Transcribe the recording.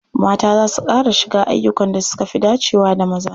Mata za su ƙara shiga ayyukan da suka fi dacewa da maza.